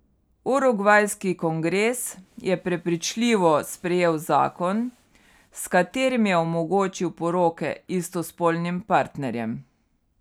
Urugvajski kongres je prepričljivo sprejel zakon, s katerim je omogočil poroke istospolnim partnerjem.